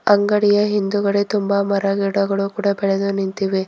ಅಂಗಡಿಯ ಹಿಂದುಗಡೆ ತುಂಬ ಮರಗಿಡಗಳು ಕೂಡ ಬೆಳೆದು ನಿಂತಿವೆ.